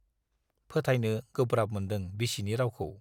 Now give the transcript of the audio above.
फोथायनो गोब्राब मोन्दों बिसिनि रावखौ।